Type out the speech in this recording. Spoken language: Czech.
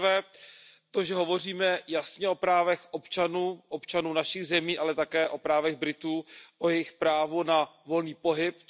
Za prvé to, že hovoříme jasně o právech občanů, občanů našich zemí, ale také o právech Britů, o jejich právu na volný pohyb.